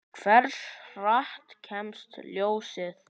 Hversu hratt kemst ljósið?